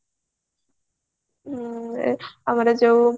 ହ୍ମ ଆମର ଯୋଉ